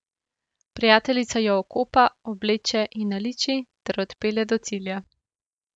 Prijateljica jo okopa, obleče in naliči ter odpelje do cilja.